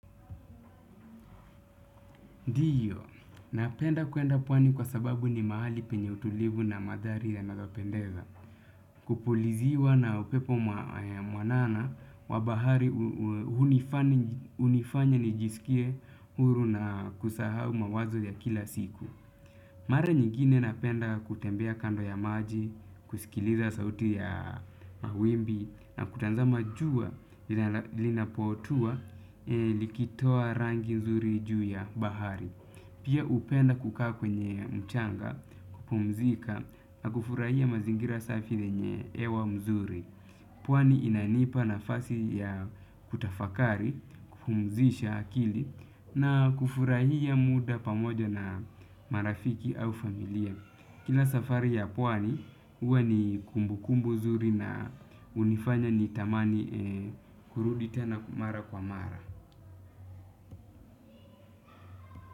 Ndiyo, napenda kwenda pwani kwa sababu ni mahali penye utulivu na mandhari ya nayo pendeza. Kupuliziwa na upepo mwanana wa bahari hunifanya nijisikie huru na kusahau mawazo ya kila siku. Mara nyingine napenda kutembea kando ya maji, kusikiliza sauti ya mawimbi na kuta zama jua linapotua likitoa rangi nzuri juu ya bahari. Pia hupenda kukaa kwenye mchanga, kupumzika na kufurahia mazingira safi yenye hewa nzuri. Pwani inanipa nafasi ya kutafakari, kupumzisha akili na kufurahia muda pamoja na marafiki au familia. Kila safari ya pwani, huwa ni kumbu kumbu nzuri na hunifanya ni tamani kurudi tena mara kwa mara.